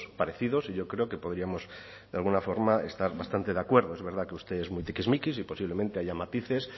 parecidos y yo creo que podríamos de alguna forma estar bastante de acuerdo es verdad que usted es muy tiquismiquis y posiblemente haya matices